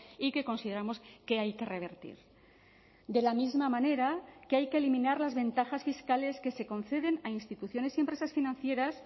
y que consideramos que hay que revertir de la misma manera que hay que eliminar las ventajas fiscales que se conceden a instituciones y empresas financieras